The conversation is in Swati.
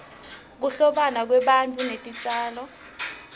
kuhlobana kwebantfu netitjalo